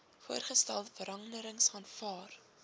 voorgestelde veranderings aanvaar